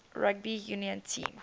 rugby union team